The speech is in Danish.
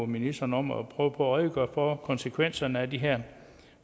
ministeren om at prøve på at redegøre for konsekvenserne af de her